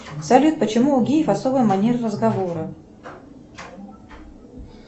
салют почему у геев особая манера разговора